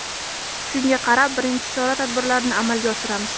Shunga qarab birinchi chora tadbirlarini amalga oshiramiz.